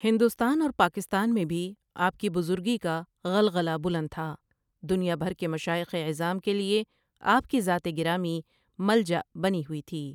ہندوستان اور پاکستان میں بھی آپ کی بزرگی کا غلغلہ بلند تھا دُنیا بھر کے مشائخ عِظام کے لیے آپ کی ذات گرامی ملجاء بنی ہوئی تھی ۔